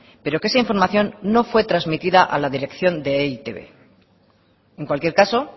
pero que esa información no fue transmitida a la dirección de e i te be en cualquier caso